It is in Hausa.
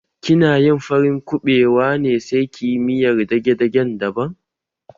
Kina yin farin kuɓewa ne sai ki yi miyar dage-dage daban?